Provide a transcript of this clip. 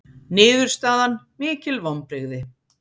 Niðurstaðan mikil vonbrigði